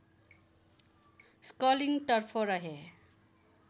स्कलिनतर्फ रहे